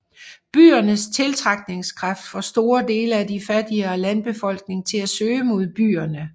Byernes tiltrækningskraft får store dele af de fattigere landbefolkning til at søge mod byerne